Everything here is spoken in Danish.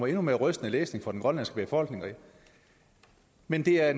endnu mere rystende læsning for den grønlandske befolkning men det er